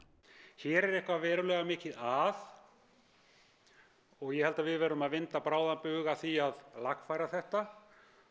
hér er eitthvað verulega mikið að og ég held að við verðum að vinna bráðan bug á því að lagfæra þetta